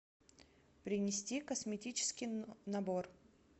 принести косметический набор